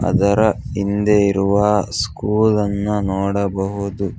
ಅದರ ಹಿಂದೆ ಇರುವ ಸ್ಕೂಲ್ ಅನ್ನು ನೋಡಬಹುದು.